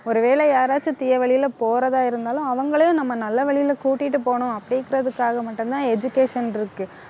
ஒருவேளை யாராச்சும் தீய வழியில போறதா இருந்தாலும் அவங்களையும் நம்ம நல்ல வழியில கூட்டிட்டு போகணும் அப்படிங்கறதுக்காக மட்டும்தான் education இருக்கு